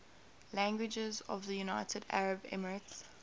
languages of the united arab emirates